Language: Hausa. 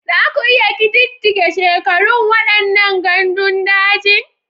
Za ku iya ƙididdige shekarun waɗannan gandun daji?